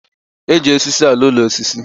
E ji osisi alụ úlọ osisi